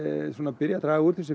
byrji að draga úr þessu